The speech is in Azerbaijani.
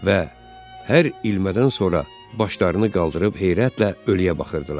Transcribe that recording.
Və hər ilmədən sonra başlarını qaldırıb heyrətlə ölüyə baxırdılar.